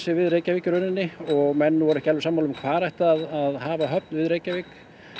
við Reykjavík í rauninni og menn voru ekki alveg sammála um hvar ætti að hafa höfn við Reykjavík